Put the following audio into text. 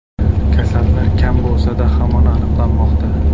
Kasallar kam bo‘lsa-da, hamon aniqlanmoqda.